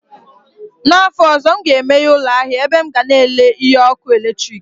N'afọ ọzọ, m ga-emeghe ụlọ ahịa ebe m ga na-ere ihe ọkụ eletrik